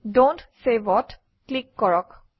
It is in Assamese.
ডন্ট Save অত ক্লিক কৰক